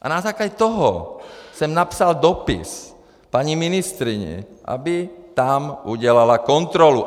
A na základě toho jsem napsal dopis paní ministryni, aby tam udělala kontrolu.